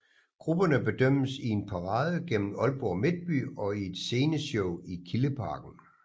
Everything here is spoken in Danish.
Grupperne bedømmes i en parade gennem Aalborg Midtby og i et sceneshow i Kildeparken